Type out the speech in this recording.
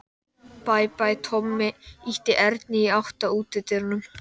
Bæ, bæ, Tommi ýtti Erni í átt að útidyrunum.